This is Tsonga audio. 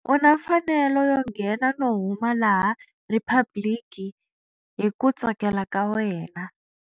U na mfanelo yo nghena no huma laha Riphabliki hi ku tsakela ka wena.